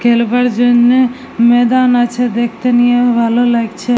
খেলবার জন্য ময়দান আছে দেখতে নিয়ে ভালো লাগছে।